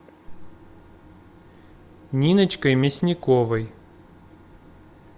ниночкой мясниковой